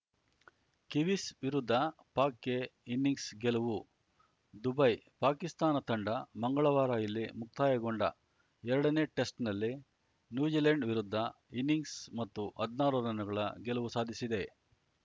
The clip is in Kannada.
ಕಿವೀಸ್‌ ವಿರುದ್ಧ ಪಾಕ್‌ಗೆ ಇನ್ನಿಂಗ್ಸ್ ಗೆಲುವು ದುಬೈ ಪಾಕಿಸ್ತಾನ ತಂಡ ಮಂಗಳವಾರ ಇಲ್ಲಿ ಮುಕ್ತಾಯಗೊಂಡ ಎರಡನೇ ಟೆಸ್ಟ್‌ನಲ್ಲಿ ನ್ಯೂಜಿಲೆಂಡ್‌ ವಿರುದ್ಧ ಇನ್ನಿಂಗ್ಸ್‌ ಮತ್ತು ಹದ್ನಾರು ರನ್‌ಗಳ ಗೆಲುವು ಸಾಧಿಸಿದೆ